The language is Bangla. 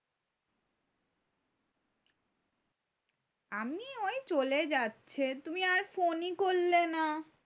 আমি ওই চলে যাচ্ছে তু্মি আর ফোন ই করলে না